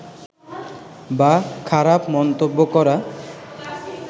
বা খারাপ মন্তব্য করা